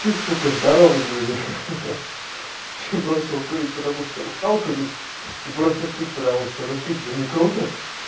ты сука здоровый выйдешь ха-ха бросил курить потому что устал курить и бросишь пить потому что ну пить же не круто